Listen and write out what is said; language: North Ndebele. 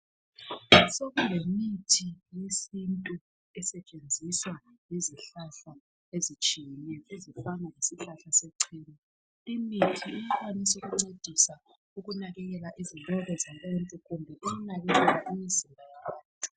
Sokulemithi yesintu esetshenziswa ngezihlahla ezitshiyeneyo ezifana lesihlahla sechena imithi iyakwanisa ukuncedisa ukunakekela izinwele zabantu kumbe ukunakekela imizimba yabantu.